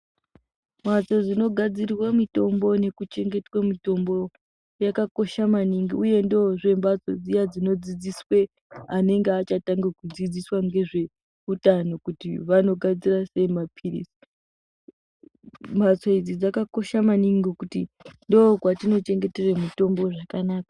Mhatso dzinogadzirwe mitombo nekuchengetwe mutombo yakakosha maningi uye ndoozve mbatso dziya dzinodzidziswe anenge achatanga kudzidziswa ngezveutano kuti vanogadzira sei maphilizi. Mbatso idzi dzakakosha maningi ngokuti ndookwatinochengetere mitombo zvakanaka.